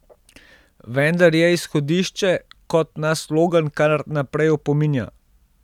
Vendar je izhodišče, kot nas Logan kar naprej opominja.